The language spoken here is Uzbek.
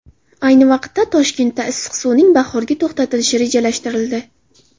Ayni vaqtda, Toshkentda issiq suvning bahorgi to‘xtatilishi rejalashtirildi.